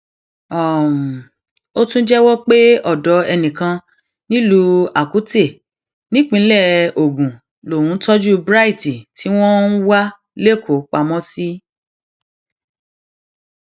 um ó tún jẹwọ pé ọdọ enìkan nílùú akute nípínlẹ ogun lòún tọjú bright tí wọn um ń wá lẹkọọ pamọ sí